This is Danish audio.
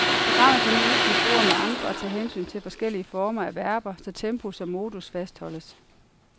Programmet kan nu udskifte ord med andre og tage hensyn til forskellige former af verber, så tempus og modus fastholdes.